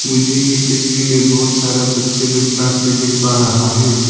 मुझे ये तस्वीर में बहोत सारा बच्चे लोग क्लास में देख पा रहा है।